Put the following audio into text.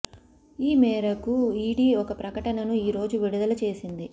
ఈ మేరకు ఈడీ ఒక ప్రకటనను ఈ రోజు విడుదల చేసింది